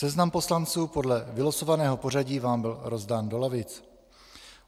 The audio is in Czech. Seznam poslanců podle vylosovaného pořadí vám byl rozdán do lavic.